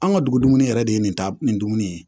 An ka dugu dumuni yɛrɛ de ye nin ta nin dumuni ye